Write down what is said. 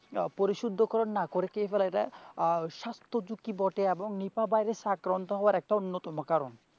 আহ পরিশুদ্ধকরণ না করে দেয় আহ স্বাস্থ্যঝুঁকি বটে এবং নিপা ভাইরাস আক্রান্ত হওয়ার একটি অন্যতম কারণ।